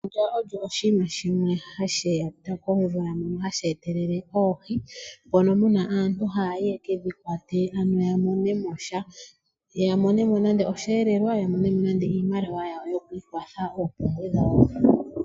Efundja olyo oshinima shimwe hashi etwa komvula hashi etelele oohi. Aantu ohaya kwata oohi opo ya mone osheelelwa nenge iimaliwa yo ku ikwatha oompumbwe dhawo.